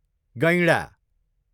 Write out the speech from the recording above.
गैँडा